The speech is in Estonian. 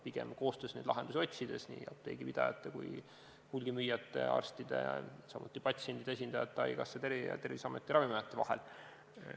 Pigem tuleb koostöös neid lahendusi otsida nii apteegipidajate kui ka hulgimüüjate, arstide, samuti patsientide esindajate, haigekassa, Terviseameti ja Ravimiameti vahel.